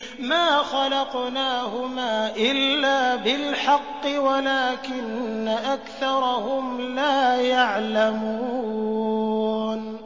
مَا خَلَقْنَاهُمَا إِلَّا بِالْحَقِّ وَلَٰكِنَّ أَكْثَرَهُمْ لَا يَعْلَمُونَ